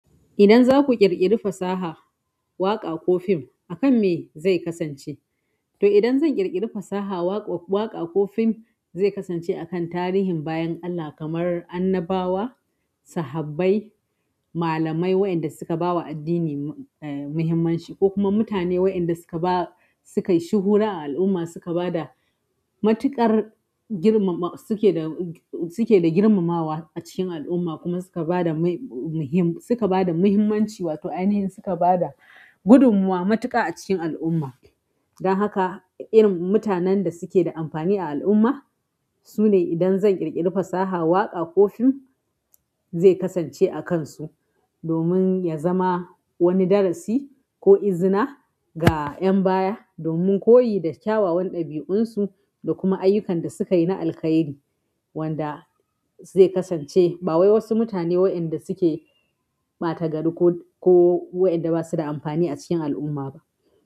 Idan zaku ƙirƙiri fasaha, waƙa ko fim akan me zai kasance? To idan zan ƙirƙiri fasaha, waƙa ko fim zai kasance a kan tarihin bayan Allah kamar annabawa, sahabai, malamai waɗanda suka bawa addini eh muhimmanci ko kuma mutane waɗanda suka ba, suka yi shuhura a al'umma suka ba da matuƙar girmama, suke da, suke da girmamawa a cikin al'umma kuma suka ba da mai, suka ba da muhimmanci wato aini yin suka bada gudunmawa matuƙa a cikin al'umma. Dan haka irin mutanen da suke da amfani a al'umma sune idan zan ƙirƙiri fasaha, waƙa ko fim zai kasance akansu domin yazama wani darasi ko izina ga ƴan baya domin koyi da kyawawan ɗabi'unsu da kuma ayyukan da suka yi na alkhairi wanda zai kasance. Ba wai wasu mutane wainda suke ɓatagari ko, ko wainda ba su da amfani a cikin al'umma ba.